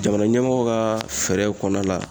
Jamana ɲɛmɔgɔ ka fɛɛrɛw kɔnɔna la